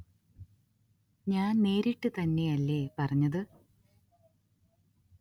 ഞാന്‍ നേരിട്ട് തന്നെ അല്ലേ പറഞ്ഞത്